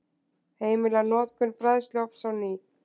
Heimila notkun bræðsluofns á ný